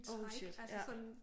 Oh shit ja